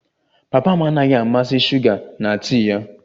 Papa m anaghị amasị shuga na tii ya